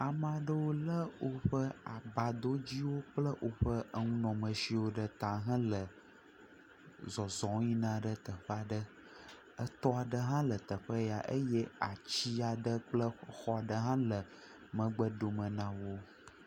Ame aɖewo lé woƒe abadɔdziwo kple enu nɔamesiwo ɖe ta hele zɔzɔm yina ɖe teƒe aɖe. Etɔ aɖe hã le teƒe ya eye ati aɖe kple xɔ aɖe hã le megbe dome na wo.